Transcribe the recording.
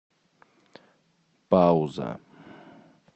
пауза